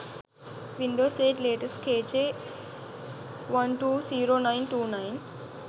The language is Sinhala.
windows 8 latest k j 120929